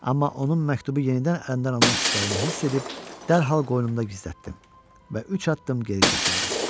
Amma onun məktubu yenidən əlindən almaq istəyini hiss edib dərhal qoynumda gizlətdim və üç addım geri çəkildim.